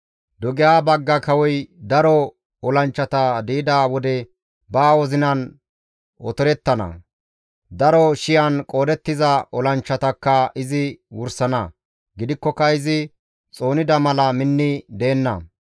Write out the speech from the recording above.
Dugeha bagga kawoy daro olanchchata di7ida wode ba wozinan otorettana; daro shiyan qoodettiza olanchchatakka izi wursana; gidikkoka izi xoonida mala minni deenna.